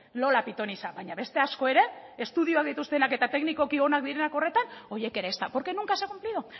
lola pitonisa baina beste asko ere estudioak dituztenak eta teknikoki onak direnak horretan horiek ere ezta porque nunca se ha cumplido